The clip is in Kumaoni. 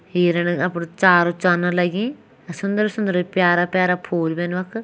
हिरन अपड़ु चार चरन लगीं अर सुन्दर सुन्दर प्यारा प्यारा फूल भीन वख।